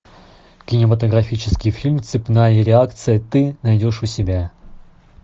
кинематографический фильм цепная реакция ты найдешь у себя